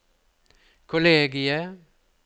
kollegiet